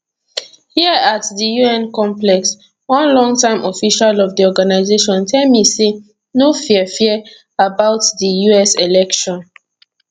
here at di un complex one longtime official of di organisation tell me say no fear fear about di us election